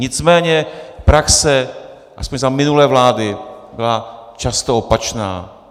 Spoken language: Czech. Nicméně praxe aspoň za minulé vlády byla často opačná.